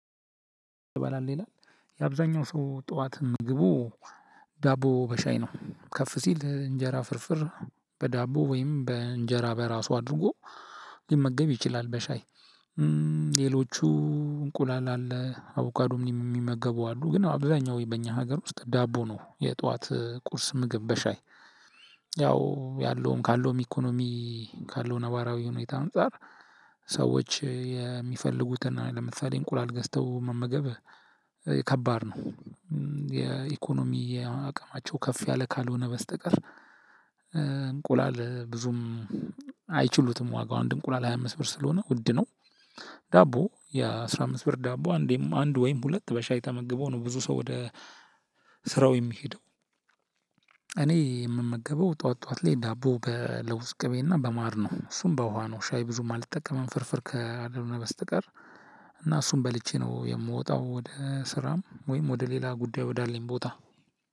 ትበላህ ይላል። የአብዛኛው ሰው ጠዋት ምግቡ ዳቦ በሻይ ነው። ከፍ ሲል እንጀራ ፍርፍር በዳቦ ወይም በእንጀራ በራሱ አድርጎ ሊመገብ ይችላል በሻይ። ሌሎቹ እንቁላል አለ፣ አቡካዶም የሚመገቡ አሉ፣ ግን አብዛኛው በእኛ ሀገር ውስጥ ዳቦ ነው የጠዋት ቁርስ ምግብ በሻይ። ያው ያለውም፣ ካለውም ኢኮኖሚ፣ ካለው ነባራዊ ሁኔታ አንፃር ሰዎች የሚፈልጉትን ለምሳሌ እንቁላል ገዝተው መመገብ ከባድ ነው። የኢኮኖሚ አቅማቸው ከፍ ያለ ካልሆነ በስተቀር እንቁላል ብዙም አይችሉትም ዋጋው አንድ እንቁላል ሃያ አምስት ብር ስለሆነ ውድ ነው። ዳቦ የአስራ አምስት ብር ዳቦ አንዴም አንድ ወይም ሁለት በሻይ ተመግቦ ነው ብዙ ሰው ወደ ስራው የሚሄደው። እኔ የምመገበው ጠዋት፣ ጠዋት ላይ ዳቦ በለውዝ ቅቤና በማር ነው። እሱም በውሃ ነው ሻይ ብዙም አልጠቀምም ፍርፍር ካልሆነ በስተቀር። እና እሱም በልቼ ነው የምወጣው ወደ ስራም ወይም ወደ ሌላ ጉዳይ ወዳለኝ ቦታ።